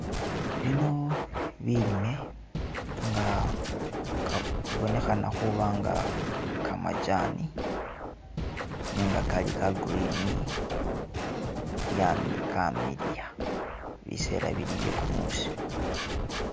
Bino bilime nga ka bubonekhana khubanga kamajani nenga kali ka green byam kamiliya bisera bili byekumusi